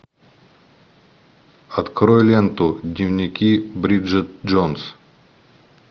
открой ленту дневники бриджит джонс